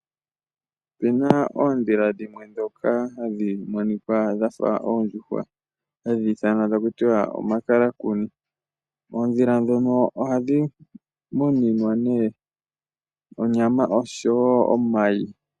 Opena oodhila dhimwe dhoka hadhi monikwa dhafa oondjuhwa ha dhiithanwa ta kutiwa omakalakuni. Oodhila dhono ohadhi muninwa nee onyama oshowo omayi.